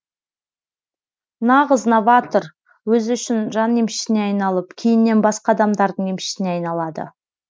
нағыз новатор өзі үшін жан емшісіне айналып кейіннен басқа адамдардың емшісіне айналады